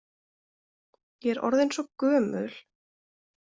Ég er orðin svo gömul.